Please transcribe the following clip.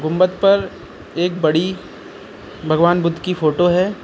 पर एक बड़ी भगवान बुद्ध की फोटो है।